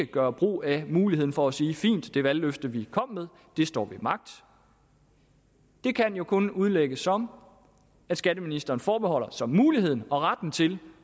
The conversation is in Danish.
gøre brug af muligheden for at sige fint det valgløfte vi kom med står ved magt det kan jo kun udlægges som at skatteministeren forbeholder sig muligheden og retten til